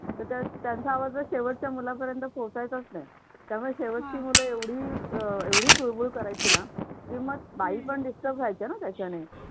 तर त्यांचा आवाज शेवटच्या मुलांपर्यंत पोहोचायचाच नाही. त्यामुळे शेवटची मुले एवढी अह एवढे चुळबुळ करायचे ना की मग बाई पण disturb च्या ना त्याच्याने